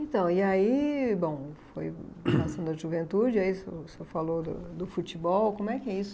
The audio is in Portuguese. Então, e aí, bom, foi passando a juventude, aí o senhor falou do do futebol, como é que é isso?